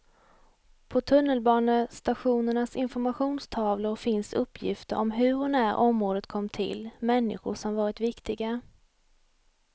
På tunnelbanestationernas informationstavlor finns uppgifter om hur och när området kom till, människor som varit viktiga.